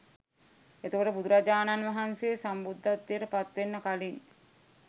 එතකොට බුදුරජාණන් වහන්සේ සම්බුද්ධත්වයට පත්වෙන්න කලින්